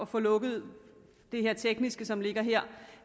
få lukket det her tekniske som ligger her